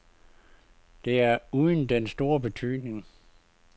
Det er uden den store betydning.